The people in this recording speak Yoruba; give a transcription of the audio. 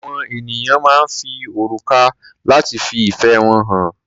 Àwọn ènìyàn máa ń fi òrùka lati fi ìfẹ́ wọn hàn.